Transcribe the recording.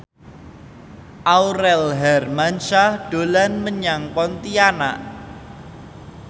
Aurel Hermansyah dolan menyang Pontianak